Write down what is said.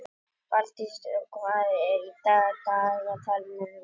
Fjalldís, hvað er í dagatalinu mínu í dag?